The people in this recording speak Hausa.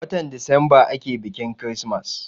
Watan desemba ake biƙin kirismas.